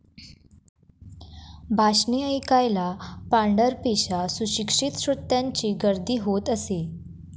भाषणे ऐकायला पांढरपेशा सुशिक्षित श्रोत्यांची गर्दी होत असे.